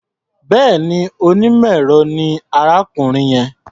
Bẹ́ẹ̀ni, onímọ̀-ẹ̀rọ ni arákùnrin yẹn.